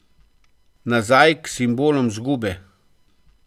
Nazaj k simbolom izgube?